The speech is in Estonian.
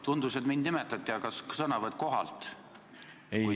Tundus, et minu nime nimetati, palun sõnavõttu kohalt!